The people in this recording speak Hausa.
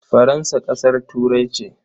Faransa ƙasar Turai ce?